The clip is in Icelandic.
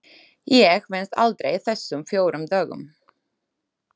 Ég venst aldrei þessum fjórum dögum.